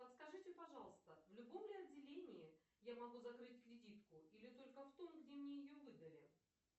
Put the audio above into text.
подскажите пожалуйста в любом ли отделении я могу закрыть кредитку или только в том где мне ее выдали